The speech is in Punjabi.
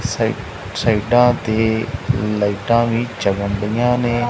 ਸਾਈ ਸਾਈਡਾਂ ਤੇ ਲਾਈਟਾਂ ਵੀ ਜੱਗਨ ਡਿਆਂ ਨੇ।